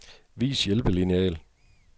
Vis hjælpelineal.